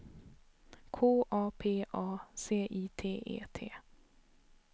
K A P A C I T E T